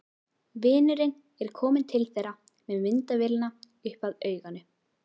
Vinurinn er kominn til þeirra með myndavélina upp að auganu.